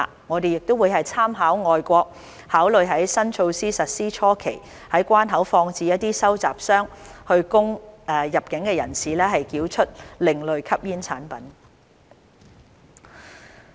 我們亦會參考外國做法，考慮在新措施實施初期在關口放置一些收集箱，以供入境人士繳出另類吸煙產品。